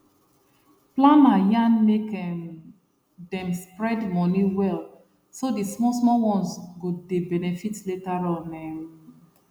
planner yarn make um dem spread money well so the small small ones go dey benefit later on um